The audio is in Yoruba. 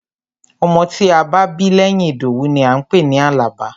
Ọmọ tí a bá bí lẹ́yìn Ìdòwú ni à ń pè ní Àlàbá.